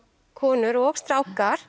konur og strákar